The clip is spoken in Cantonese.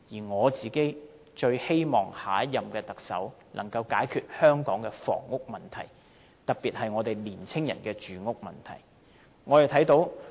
我最希望下一任特首能夠解決香港的房屋問題，特別是年青人住屋問題。